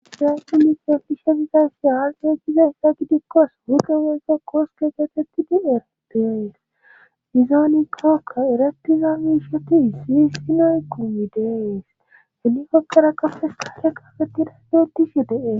siraahu mikefishe gizaysi haargeykize hessa gidikkos hudo weygo qooskeegeetettidi eratiyoes izooni kaka eratizamishotii si hisinoy quyidees hini kopqera kafes kacha kafeti rasdootishe de7e